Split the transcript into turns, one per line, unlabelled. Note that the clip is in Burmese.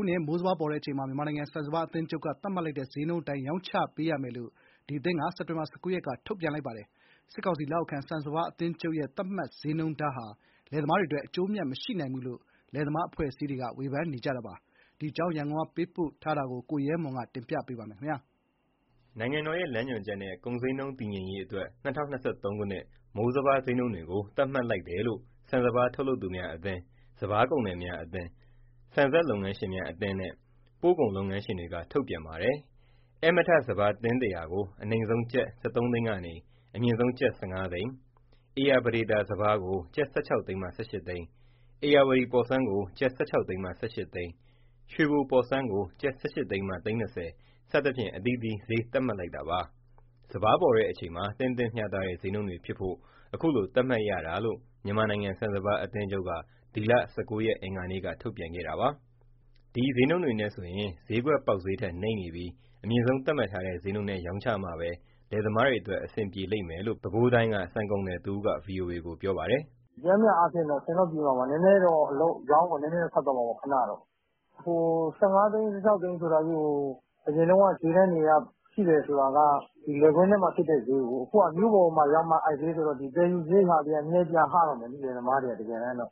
ုနှစ် မိုးစပါးပေါ်တဲ့အချိန်မှာ မြန်မာနိုင်ငံ ဆန်စပါးအသင်းချုပ်က သတ်မှတ်လိုက်တဲ့ စျေးနှုန်းအတိုင်း ရောင်းချပေးရမယ်လို့ ဒီအသင်းက စက်တင်ဘာလ ၁၉ ရက်က ထုတ်ပြန်လိုက်ပါတယ်။ စစ်ကောင်စီ လက်အောက်ခံ ဆန်စပါးအသင်းချုပ်ရဲ့ သတ်မှတ်ဈေးနှုန်းထားဟာ လယ်သမားတွေအတွက် အကျိုးအမြတ် မရှိနိုင်ဘူးလို့ လယ်သမားအဖွဲ့အစည်းတွေက ဝေဖန်ပါတယ်။ ဒီအကြောင်း ရန်ကုန်ကပေးပို့လာတဲ့ သတင်းကို ကိုရဲမွန်က တင်ပြပေးပါမယ်။
နိုင်ငံတော်ရဲ့ လမ်းညွှန်ချက်နဲ့ ကုန်စျေးနှုန်း တည်ငြိမ်ရေးအတွက် ၂၀၂၃ ခုနှစ် မိုးစပါး စျေးနှုန်းတွေကို သတ်မှတ်လိုက်တယ်လို့ ဆန်စပါး ထုတ်လုပ်သူများအသင်း၊ စပါးကုန်သည်များအသင်း၊ ဆန်စက် လုပ်ငန်းရှင်များအသင်းနဲ့ ပို့ကုန်လုပ်ငန်းရှင်တွေက ထုတ်ပြန်ပါတယ်။ ဧည့်မထစပါး တင်း ၁၀၀ ကို အနိမ့်ဆုံးကျပ် ၁၃ သိန်းကနေ အမြင့်ဆုံး ကျပ် ၁၅ သိန်း၊ ဧရာပဒေသာ စပါးကို ကျပ် ၁၆ သိန်းကနေ ၁၈ သိန်း၊ ဧရာဝတီ ပေါ်ဆန်းကို ကျပ် ၁၆ သိန်းမှ ၁၈ သိန်း၊ ရွှေဘိုပေါ်ဆန်းကို ကျပ် ၁၈ သိန်းမှ သိန်း၂၀ စသဖြင့် အသီးသီး စျေးသတ်မှတ်လိုက်တာပါ။ စပါးပေါ်တဲ့အချိန်မှာ သင့်တင့်မျှတတဲ့ စျေးနှုန်းတွေဖြစ်ဖို့ အခုလို သတ်မှတ်ရတာလို့ မြန်မာနိုင်ငံ ဆန်စပါးအသင်းချုပ်က ဒီလ ၁၉ ရက် အင်္ဂါနေ့က ထုတ်ပြန်ခဲ့တာပါ။ ဒီစျေးနှုန်းတွေနဲ့ဆိုရင် စျေးကွက်ပေါက်စျေးထက် နိမ့်နေပြီး အမြင့်ဆုံး သတ်မှတ်ထားတဲ့ စျေးနှုန်းနဲ့ ရောင်းချမှပဲ လယ်သမားတွေအတွက် အဆင်ပြေလိမ့်မယ်လို့ ပဲခူးတိုင်းနေ ဆန်ကုန်သည်တဦးက ဗွီအိုအေကို ပြောပါတယ်
။ "ပျမ်းမျှ အားဖြင့်တော့ အဆင်တော့ပြေမှာပါ။ အရောင်းအဝယ် နည်းနည်းတော့ ခက်သွားမှာပေါ့ ခဏတော့။ ၁၅ သိန်း၊ ၁၆ သိန်း ဆိုတာကြီးကို အရင်တုန်းက စျေးတန်းတွေအရ ရှိတယ်ဆိုတာက လယ်ကွင်းထဲမှာ ဖြစ်တဲ့စျေးကိုး။ အခုက မြို့ပေါ်ရောက်မှ အဲ့ဒီစျေးဆိုတော့ သယ်ယူစရိတ်တွေက နည်းနည်း ပြန်ဟတော့မှာ လယ်သမားတွေက။ ၁၃ သိန်းနဲ့ ၁